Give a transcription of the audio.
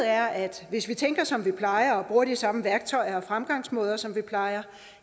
er at hvis vi tænker som vi plejer og bruger de samme værktøjer og fremgangsmåder som vi plejer